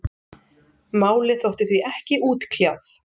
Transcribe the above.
málið þótti því ekki útkljáð